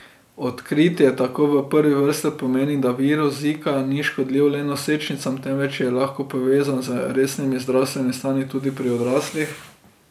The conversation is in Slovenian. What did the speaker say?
Odkritje tako v prvi vrsti pomeni, da virus Zika ni škodljiv le nosečnicam, temveč je lahko povezan z resnimi zdravstvenimi stanji tudi pri odraslih.